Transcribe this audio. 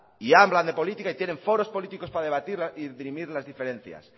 y hablan de política y tienen foros políticos para debatir y dirimir las diferencias